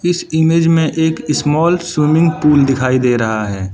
इस इमेज में एक स्मॉल स्विमिंग पूल दिखाई दे रहा है।